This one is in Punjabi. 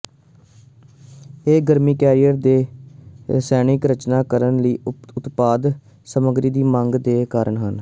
ਇਹ ਗਰਮੀ ਕੈਰੀਅਰ ਦੇ ਰਸਾਇਣਕ ਰਚਨਾ ਕਰਨ ਲਈ ਉਤਪਾਦ ਸਮੱਗਰੀ ਦੀ ਮੰਗ ਦੇ ਕਾਰਨ ਹੈ